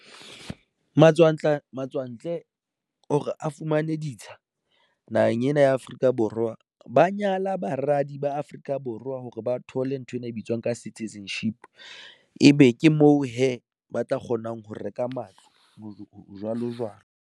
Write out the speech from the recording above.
Matswantle matswantle hore a fumane ditsha naheng ena ya Afrika Borwa. Ba nyala baradi ba Afrika Borwa hore ba thole nthwena e bitswang ka citizenship ebe ke moo hee ba tla kgonang ho reka matlo, jwalo jwalo.